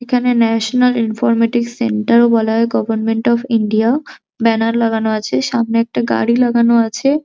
এখানে national informatics centre ও বলা হয় গভারমেন্ট অফ ইন্ডিয়া ব্যানার লাগানো আছে সামনে একটা গাড়ি লাগানো আছে।